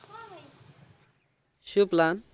શું plan